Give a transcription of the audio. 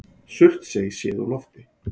Surtsey séð úr lofti.